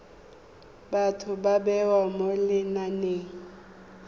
batho ba bewa mo lenaneng